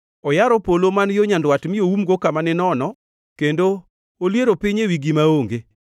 Oyaro polo man yo nyandwat mi oumgo kama ninono; kendo oliero piny ewi gima onge.